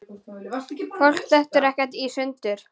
Fólk dettur ekkert í sundur.